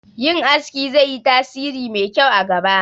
Yin aski zai yi tasiri mai kyau a gaba